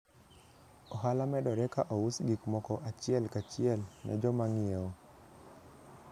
Ohala medore ka ous gik moko achiel kachiel ne joma ng'iewo.